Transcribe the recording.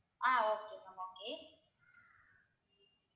ah okay ma'am okay